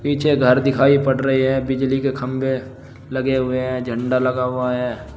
पीछे घर दिखाइ पड़ रहे हैं बिजली के खंभे लगे हुए हैं झंडा लगा हुआ है।